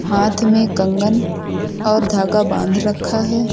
हाथ में कंगन और धागा बांध रखा है।